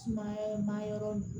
Sumaya ma yɔrɔ